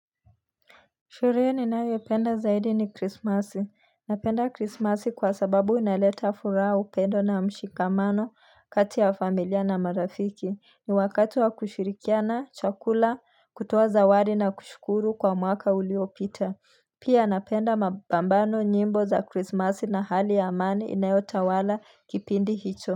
Sherehe niyoi penda zaidi ni krismasi. Napenda krismasi kwa sababu inaleta furaha upendo na mshikamano kati ya familia na marafiki. Ni wakati wa kushirikiana chakula kutoa zawadi na kushukuru kwa mwaka uliopita. Pia napenda mabambano nyimbo za krismasi na hali ya amani inayota wala kipindi hicho.